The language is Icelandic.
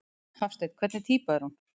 Hafsteinn: Hvernig týpa er hún?